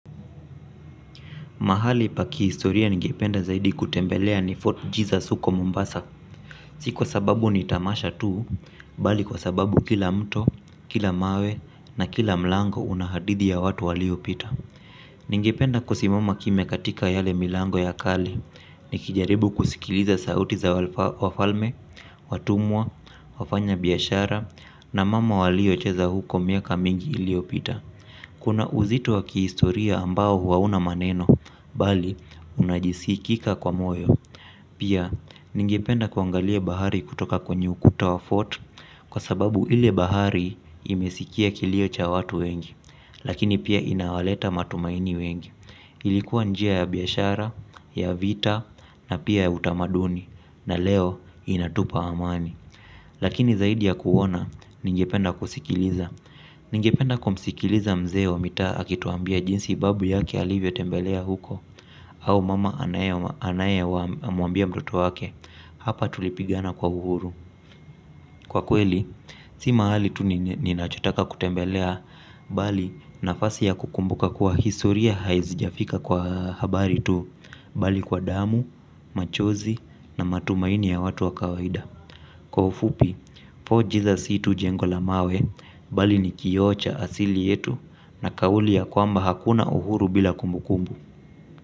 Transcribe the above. Mahali pa kiistoria ningependa zaidi kutembelea nifotu jizas uko mombasa. Siku kwa sababu nitamasha tuu, bali kwa sababu kila mto, kila mawe na kila mlango unahadidi ya watu waliopita. Ningependa kusimama kimia katika yale milango ya kale, ni kijaribu kusikiliza sauti za wafalme, watumwa, wafanya biyashara, na mama wali ocheza huko miaka mingi iliopita. Kuna uzito wa kihistoria ambao huauna maneno, bali unajisikika kwa moyo. Pia, ningependa kuangalie bahari kutoka kwenye ukuta wa fortu kwa sababu ile bahari imesikia kilio cha watu wengi. Lakini pia inawaleta matumaini wengi. Ilikuwa njia ya biyashara, ya vita na pia ya utamaduni na leo inatupa amani. Lakini zaidi ya kuona, ningependa kusikiliza. Ningependa kumsikiliza mzee wa mita akituambia jinsi babu yake alivyo tembelea huko. Au mama anaye wa muambia mdoto wake. Hapa tulipigana kwa uhuru. Kwa kweli, si mahali tu ninachotaka kutembelea bali nafasi ya kukumbuka kuwa historia haizijafika kwa habari tu bali kwa damu, machozi na matumaini ya watu wakawaida. Kwa ufupi, poji za situ jengola mawe bali ni kiocha asili yetu na kawuli ya kwamba hakuna uhuru bila kumbu kumbu.